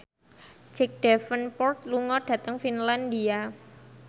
Jack Davenport lunga dhateng Finlandia